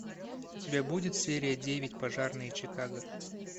у тебя будет серия девять пожарные чикаго